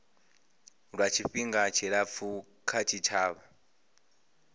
lwa tshifhinga tshilapfu kha tshitshavha